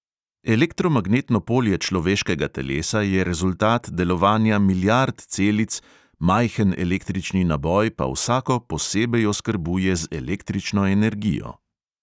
Elektromagnetno polje človeškega telesa je rezultat delovanja milijard celic, majhen električni naboj pa vsako posebej oskrbuje z električno energijo.